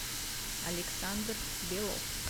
александр белов